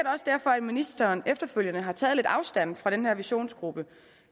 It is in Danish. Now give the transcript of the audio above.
også derfor at ministeren efterfølgende har taget lidt afstand fra den her visionsgruppe